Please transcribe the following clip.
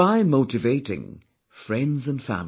Try motivating friends & family